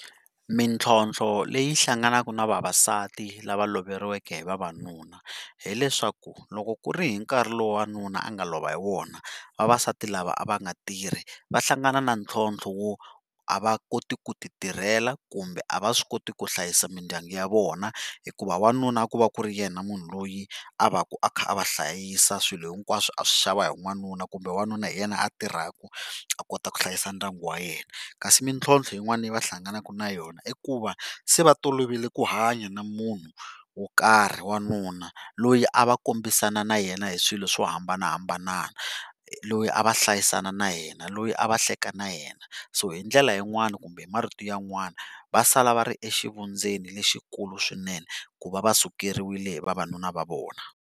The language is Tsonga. Mintlhotlho leyi hlanganaka na vavasati lava loveriweke hi vavanuna hileswaku va loko ku ri hi nkarhi lowu wanuna a nga lova hi wona vavasati lava a va nga tirhi va hlangana na ntlhontlho wo a va koti ku ti tirhela kumbe a va swi koti ku hlayisa mindyangu ya vona hikuva wanuna a ku va ku ri yena munhu loyi a va ka a kha a va hlayisa swilo hinkwaswo a swi xava hi wanuna kumbe wanuna hi yena a tirhaka a kota ku hlayisa ndyangu wa yena. Kasi mintlhontlho yin'wana leva hlanganaka na yona i ku va se va tolovele ku hanya na munhu wo karhi wanuna loyi a va kombisana na yena hi swilo swo hambanahambana loyi a va hlayisana na yena loyi a va hleka na yena. So hi ndlela yin'wani kumbe marito yan'wani va sala va ri exivundzeni lexikulu swinene ku va va sukeriwile hi vavanuna va vona.